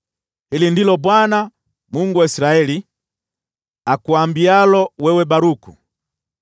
“Hili ndilo Bwana , Mungu wa Israeli, akuambialo wewe Baruku: